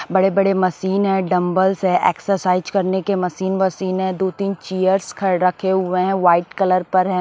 बड़े-बड़े मशीन है डंबल्स है एक्सरसाइज करने के मशीन वशीन है दो-तीन चेयर्स ख रखे हुए हैं वाइट कलर पर ह--